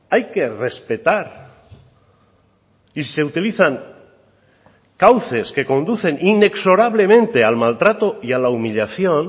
hay que respetar y se utilizan cauces que conducen inexorablemente al maltrato y a la humillación